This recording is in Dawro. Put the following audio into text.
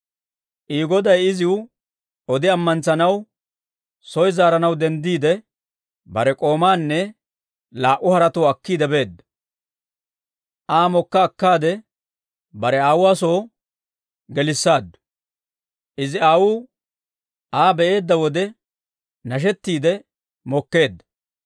I goday iziw odi amantsanawunne, soy zaaranaw denddiide, bare k'oomaanne laa"u haretuwaa akkiide beedda; Aa mokka akkaade, bare aawuwaa soy gelissaaddu. Izi aawuu Aa be'eedda wode, nashettiide mokkeedda.